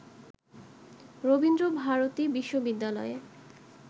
রবীন্দ্র ভারতী বিশ্ববিদ্যালয়ে